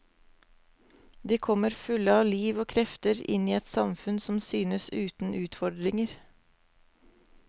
De kommer fulle av liv og krefter inn i et samfunn som synes uten utfordringer.